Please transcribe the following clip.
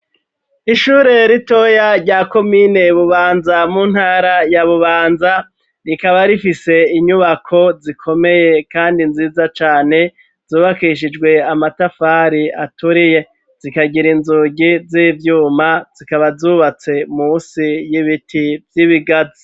Ishure ritoya rya komine bubanza, mu ntara ya bubanza ,rikaba rifise inyubako zikomeye kandi nziza cane zubakishijwe amatafari aturiye, zikagira inzugi z'ivyuma zikaba zubatse musi y'ibiti vy'ibigazi.